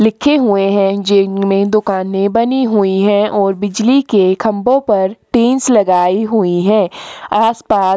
लिखे हुए है जिनमे दुकाने बनी हुई है ओर बिजलि के खम्भों पर टिन्स लगाई हुई है आसपास--